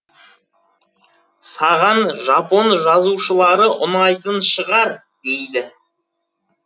саған жапон жазушылары ұнайтын шығар дейді